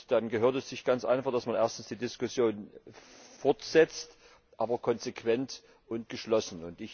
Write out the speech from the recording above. Dann gehört es sich ganz einfach, dass man die Diskussion fortsetzt, aber konsequent und geschlossen.